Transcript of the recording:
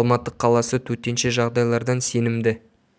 алматы қаласы төтенше жағдайлардан сенімді